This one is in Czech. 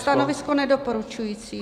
Stanovisko nedoporučující.